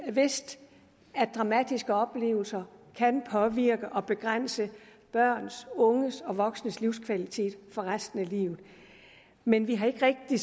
vidst at dramatiske oplevelser kan påvirke og begrænse børns unges og voksnes livskvalitet for resten af livet men vi har ikke rigtig